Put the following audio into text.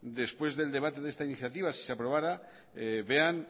después del debate de esta iniciativa si se aprobara vean